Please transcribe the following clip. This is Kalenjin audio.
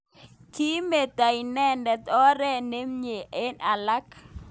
Kimitei inendet oret nemye eng alak.